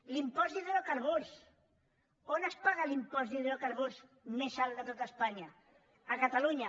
l’impost d’hidro carburs on es paga l’impost d’hidrocarburs més alt de tot espanya a catalunya